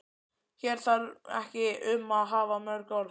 Hér um þarf ekki að hafa mörg orð.